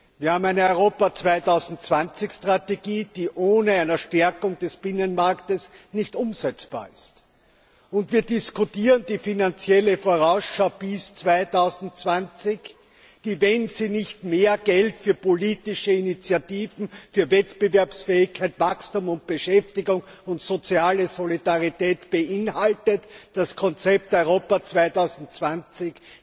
Wir haben eine Europa 2020 Strategie, die ohne eine Stärkung des Binnenmarktes nicht umsetzbar ist, und wir diskutieren die Finanzielle Vorausschau bis 2020, die, wenn sie nicht mehr Geld für politische Initiativen für Wettbewerbsfähigkeit, Wachstum, Beschäftigung und soziale Solidarität beinhaltet, es nicht ermöglicht, dass das Konzept Europa 2020